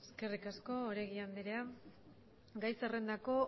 eskerrik asko oregi andrea gai zerrendako